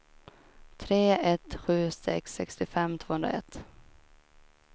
tre ett sju sex sextiofem tvåhundraett